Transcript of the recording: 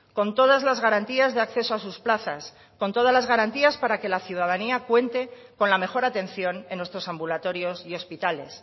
con todas las garantías de acceso a sus plazas con todas las garantías para que la ciudadanía cuente con la mejor atención en nuestros ambulatorios y hospitales